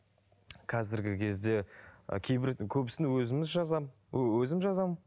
қазіргі кезде ы кейбір көбісін өзіміз жазамын өзім жазамын